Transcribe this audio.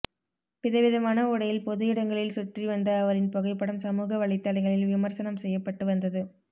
விதவிதமான உடையில் பொது இடங்களில் சுற்றி வந்த அவரின் புகைப்படம் சமூக வலைதளங்களில் விமர்சனம் செய்யப்பட்டது வந்தது